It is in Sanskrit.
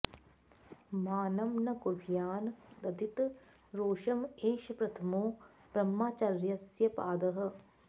मानं न कुर्यान्न दधीत रोषम् एष प्रथमो ब्रह्मचर्यस्य पादः